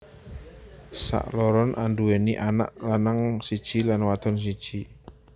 Sakloron anduwèni anak lanang siji lan wadon siji